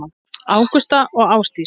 Ágústa og Ásdís.